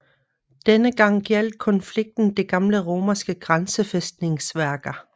Denne gang gjaldt konflikten de gamle romerske grænsefæstningsværker